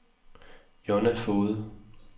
Jonna Foged